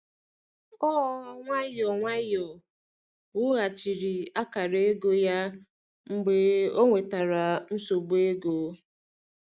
Ọ nwayọọ nwayọọ wughachiri akara ego ya mgbe ọ nwetara nsogbu ego.